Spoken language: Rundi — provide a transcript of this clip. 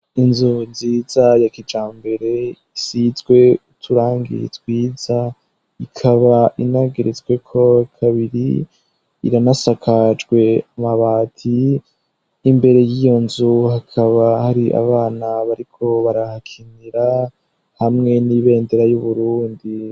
Inzu nziza ya kijambere isizwe uturangi twiza ikaba inageretswe ko kabiri, iranasakajwe amabati y'imbere y'iyo nzu hakaba hari abana bariko barahakinira hamwe n'ibendera y'Uburundi.